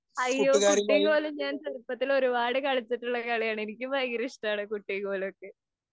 അയ്യോ! കുട്ടീം കോലും കളി ഞാന്‍ ചെറുപ്പത്തിലേ ഒരു പാട് കളിച്ചിട്ടുള്ള കളിയാണ്‌. എനിക്കും ഭയങ്കര ഇഷ്ടമാണ് കുട്ടിം കോലുമൊക്കെ.